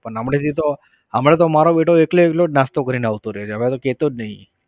પણ હમણાંથી તો હમણાં તો મારો બેટો એકલો એકલો નાસ્તો કરીને આવતો રહે. હવે તો કહેતો જ નહિ.